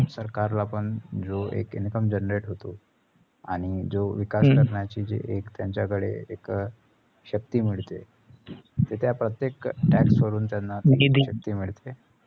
सरकारला पण जो एक income generate होतो आणि जो विकास करण्याची जी एक त्यांच्याकडे मिळते ते त्या प्रत्येक tax वरून त्यांना शक्ती मिळते.